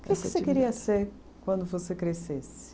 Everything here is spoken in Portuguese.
Você queria ser quando você crescesse?